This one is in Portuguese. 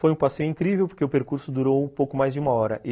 Foi um passeio incrível porque o percurso durou pouco mais de uma hora.